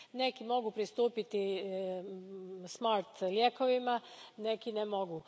Neki mogu pristupiti smart lijekovima, neki ne mogu.